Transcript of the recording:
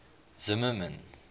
zimmermann